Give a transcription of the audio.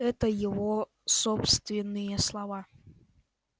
это его собственные слова